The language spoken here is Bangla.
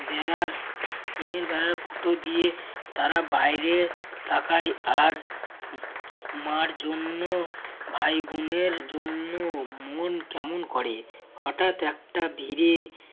বেড়ার টিনের বেড়ার ফুটো দিয়ে তারা বাইরে তাকায় আর ম~ মার জন্য ভাই বোন এর জন্য মন কেমন করে। হঠাৎ একটা ধীরে